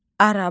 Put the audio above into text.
Araba.